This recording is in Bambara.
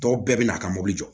Dɔw bɛɛ bɛ na a ka mobili jɔ